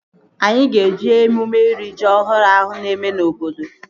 Anyị ga-eje emume iri ji ọhụrụ ahụ na-eme na obodo